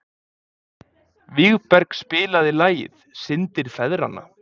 Vígberg, spilaðu lagið „Syndir feðranna“.